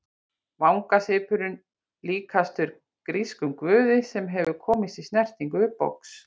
Vangasvipurinn líkastur grískum guði sem hefur komist í snertingu við box.